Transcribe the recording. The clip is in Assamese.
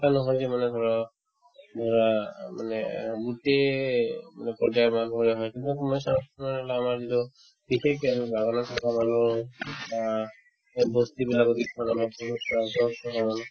নহয় মানে ধৰা ধৰা মানে গোটেয়ে মানে পৰ্য্যায়ৰ মানুহে হয়তো কোনোবাই কোনোবাই support কৰিলে আমাৰ যিবিলাক বিশেষ গাওখনত থকা মানুহৰ বা এই বস্তি বিলাকত আমাৰ কোনো স্বাস্থ্যৰ বিষয়ে নজানো